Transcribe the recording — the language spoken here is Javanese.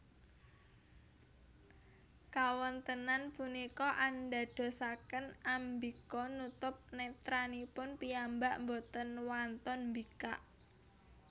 Kawontenan punika andadosaken Ambika nutup netranipun piyambak boten wantun mbikak